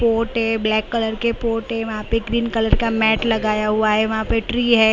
Port है black colour के port है वहां पे ग्रीन कलर का मैट लगाया हुआ है वहां पे ट्री है।